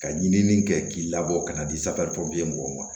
Ka ɲinini kɛ k'i labɔ ka na di safinɛ mɔgɔw ma